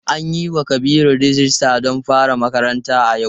An yiwa Kabiru rijista don fara makaranta a yau.